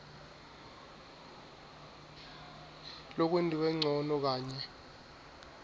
lokwentiwe ncono kanye